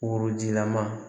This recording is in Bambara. Worojilama